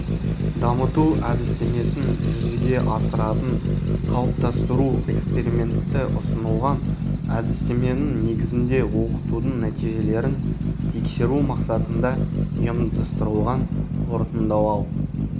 дамыту әдістемесін жүзеге асыратын қалыптастыру эксперименті ұсынылған әдістеменің негізінде оқытудың нәтижелерін тексеру мақсатында ұйымдастырылған қорытындылау